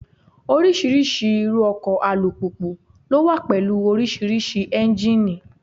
Oríṣiríṣi irú ọkọ̀ alùpùpù ló wà pẹ̀lú oríṣiríṣi Ẹ́njíníì.